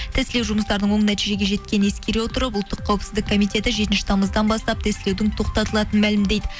тестілеу жұмыстарының оң нәтижеге жеткенін ескере отырып ұлттық қауіпсіздік комитеті жетінші тамыздан бастап тестілеудің тоқтатылатынын мәлімдейді